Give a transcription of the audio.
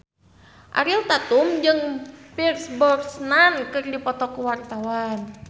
Ariel Tatum jeung Pierce Brosnan keur dipoto ku wartawan